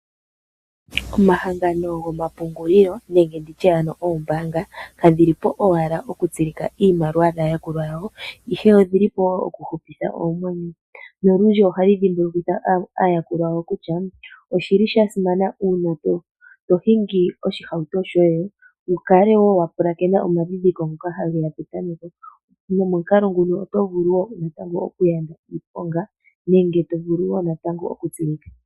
Omahangano gomapungulilo nenge oombaanga kadhi li po owala okutsilika iimaliwa yaayakulwa yawo, ihe oyi li po wo okuhupitha oomwenyo. Olundji ohayi dhimbulukitha aayakulwa yawo kutya osha simana uuna to hingi oshihauto shoye wu kale wo wa pulakena omadhindhiliko ngoka hage ya petameko nomomukalo nguno oto vulu wo okuyanda iiponga nenge to vulu wo natango okutsilika.